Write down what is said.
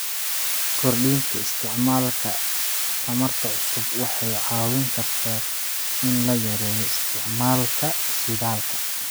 Kordhinta isticmaalka tamarta cusub waxay caawin kartaa in la yareeyo isticmaalka shidaalka.